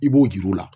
I b'o jir'u la